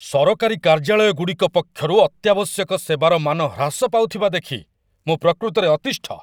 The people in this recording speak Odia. ସରକାରୀ କାର୍ଯ୍ୟାଳୟଗୁଡ଼ିକ ପକ୍ଷରୁ ଅତ୍ୟାବଶ୍ୟକ ସେବାର ମାନ ହ୍ରାସ ପାଉଥିବା ଦେଖି ମୁଁ ପ୍ରକୃତରେ ଅତିଷ୍ଠ।